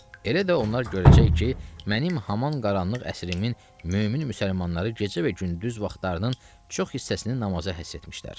Elə də onlar görəcək ki, mənim haman qaranlıq əsrimin mömin müsəlmanları gecə və gündüz vaxtlarının çox hissəsini namaza həsr etmişlər.